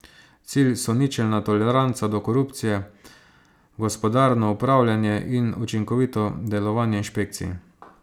Cilj so ničelna toleranca do korupcije, gospodarno upravljanje in učinkovito delovanje inšpekcij.